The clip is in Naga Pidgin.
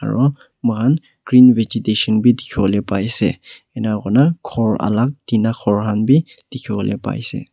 aro mohan green vegetation bi dikhi wole paise enka korna khor alak tina khor khan bi dikhi wole paishe.